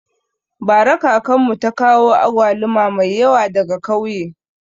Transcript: Bara kakanmu ta kawo agwaluma mai yawa daga kauye